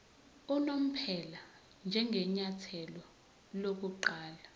unomphela njengenyathelo lokuqala